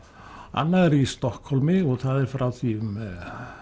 annað er í Stokkhólmi og það er frá því um